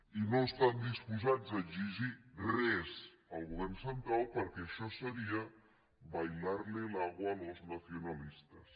i no estan disposats a exigir res al govern central perquè això seria bailarle el agua a los nacionalistas